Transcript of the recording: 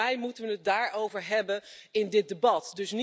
Volgens mij moeten we het daarover hebben in dit debat.